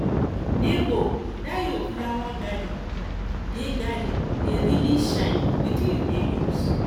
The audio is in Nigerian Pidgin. nebor dat your flower garden dey garden dey really shine wetin you dey use